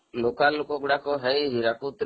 local ଲୋକଗୁଡାକ ଯାଇ ହୀରାକୁଦ ରେ